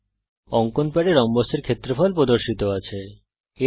এখানে অঙ্কন প্যাডের উপর রম্বসের ক্ষেত্রফল প্রদর্শিত আছে